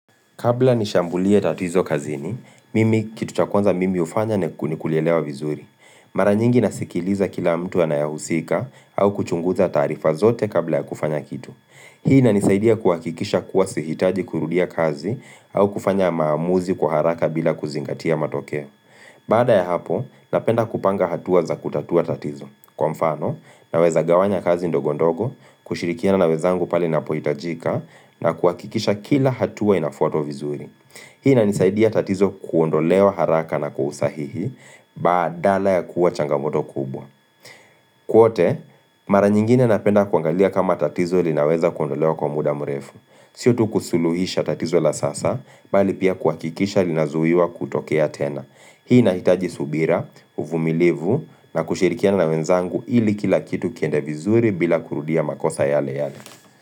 Kabla nishambulie tatizo kazini, mimi, kitu cha kwanza mimi hufanya ni kulielewa vizuri. Mara nyingi nasikiliza kila mtu anayehusika au kuchunguza taarifa zote kabla ya kufanya kitu. Hii inanisaidia kuhakikisha kuwa sihitaji kurudia kazi au kufanya maamuzi kwa haraka bila kuzingatia matokeo. Baada ya hapo, napenda kupanga hatua za kutatua tatizo. Kwa mfano, naweza gawanya kazi ndogo ndogo, kushirikiana na wenzangu pale inapohitajika, na kuhakikisha kila hatua inafuatwa vizuri. Hii inanisaidia tatizo kuondolewa haraka na kwa usahihi, badala ya kuwa changamoto kubwa. Kwote, mara nyingine napenda kuangalia kama tatizo linaweza kuondolewa kwa muda mrefu. Siyo tu kusuluhisha tatizo la sasa, bali pia kuhakikisha linazuiwa kutokea tena. Hii inahitaji subira, uvumilivu na kushirikiana na wenzangu ili kila kitu kiende vizuri bila kurudia makosa yale yale.